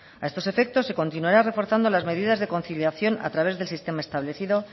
a estos efectos se continuará reforzando las medidas de conciliación a través del sistema establecido